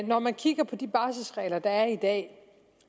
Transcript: når man kigger på de barselregler der er i dag